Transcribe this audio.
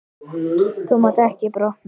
Þú mátt ekki brotna.